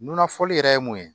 N nunna fɔli yɛrɛ ye mun ye